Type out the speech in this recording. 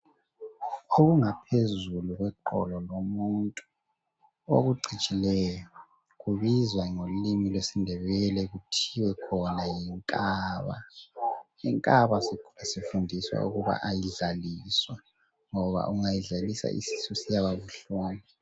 Okungaphezulu kweqolo lomuntu okucijileyo kubizwa ngolimi lwesindebele kuthiwa yinkaba, Inkaba sifundiswa ukuba ayidlaliswa ngoba ungayidlalisa isisu siyaba buhlungu.